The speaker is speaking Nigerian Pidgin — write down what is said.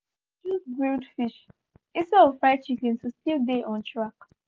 dem choose grilled fish instead of fried chicken to still dey on track.